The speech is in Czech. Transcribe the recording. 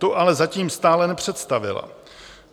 Tu ale zatím stále nepředstavila.